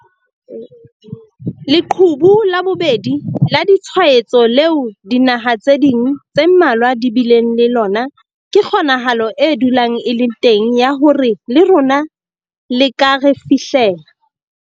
Leqhubu la bobedi la ditshwaetso leo dinaha tse ding tse mmalwa di bileng le lona ke kgonahalo e dulang e le teng ya hore le rona le ka re fihlela.